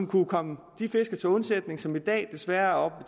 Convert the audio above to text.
kunne komme de fiskere til undsætning som i dag desværre er